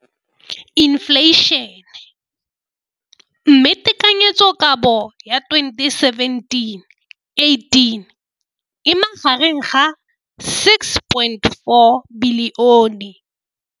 Infleišene, mme tekanyetsokabo ya 2017 18 e magareng ga 6.4 bilione.